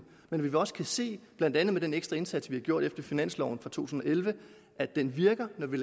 men vi kan også se blandt andet med den ekstra indsats vi har gjort efter finansloven for to tusind og elleve at det virker når vi